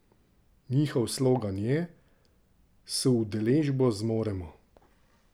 Njihov slogan je: 'S udeležbo zmoremo'.